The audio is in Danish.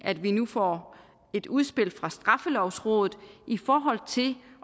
at vi nu får et udspil fra straffelovrådet i forhold til